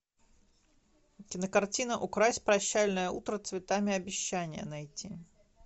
кинокартина укрась прощальное утро цветами обещания найти